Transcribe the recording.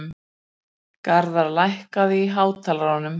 Garðar, lækkaðu í hátalaranum.